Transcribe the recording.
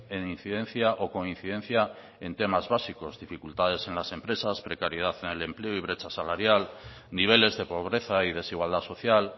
en incidencia o con incidencia en temas básicos dificultades en las empresas precariedad en el empleo y brecha salarial niveles de pobreza y desigualdad social